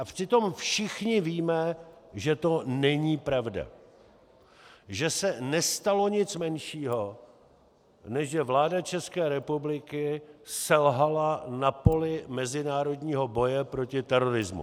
A přitom všichni víme, že to není pravda, že se nestalo nic menšího, než že vláda České republiky selhala na poli mezinárodního boje proti terorismu.